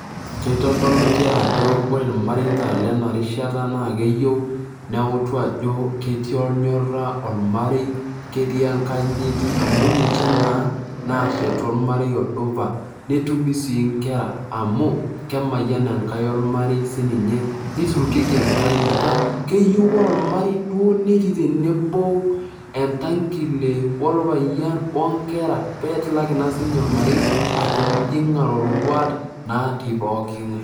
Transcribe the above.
Kitodolu nchere ajo ore irmareita lena rishata keyieu neuta ajo ketii ornyora ormarei, ketii enkanyit amu ninche naa nashetu ormarei odupa, netumi sii inkera amu kemayian enkai ormarei sininye , nirukieki enkaei metaa ,keyieu ore ormarei duo netii tenebo entangile orpayian onkera pee tilaki naa sininye ormarei atijing iroruat natii pooki ngae .